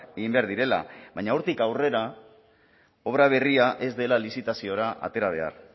egin behar direla baina hortik aurrera obra berria ez dela lizitaziora atera behar